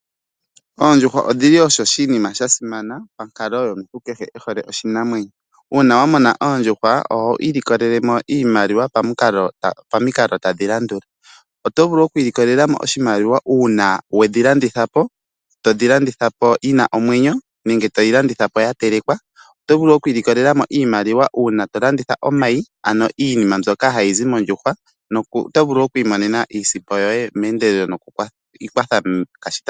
Oondjuhwa odhili oshinima sha simana monkalo yomuntu kehe ehole oshinamwenyo. Una wamona oondjuhwa oho ilikolelemo iimaliwa pamiikalo tadhi landula, oto vulu oku ilikolelamo oshimaliwa una wedhi landithapo todhi landithapo yi na omwenyo nenge toyi landithapo yatelekwa. Oto vulu oku ili kolela oshimaliwa una to landitha omayi ano iinima mbyoka hayi zi mondjuhwa, oto vulu oku imonena iisimpo yoye mendelelo nokukwatha.